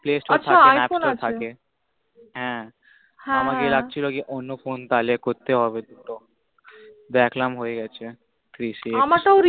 play store থাকলে app তা থাকে আছা i phone আছে হ্য়াঁ হ্য়াঁ হ্য়াঁ আমার লাগছিল কি অন্য phone তাহলে করতে হবে হয় তো দেখলাম হয়ে গেছে three x আমাকেও